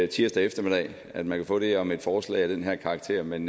tirsdag eftermiddag at man kan få det om et forslag af den her karakter men